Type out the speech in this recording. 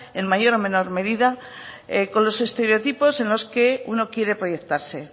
en mayor o menor medida con los estereotipos en los que uno quiere proyectarse